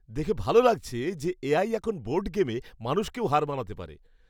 দেখে ভালো লাগছে যে এ.আই এখন বোর্ড গেমে মানুষকেও হার মানাতে পারে।